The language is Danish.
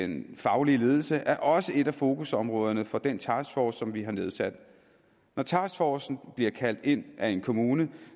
den faglige ledelse er også et af fokusområderne for den taskforce som vi har nedsat når taskforcen bliver kaldt ind af en kommune